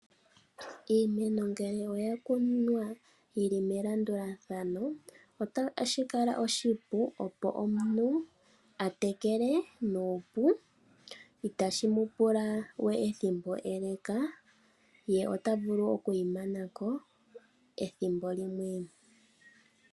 Iimeno ngele oya kunwa yili melandulathano otashi kala oshipu opo omuntu atekele nuupu ,itashimu pula we ethimbo eleka, ye ota vulu okuyi manako ethimbo limwe